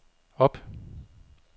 op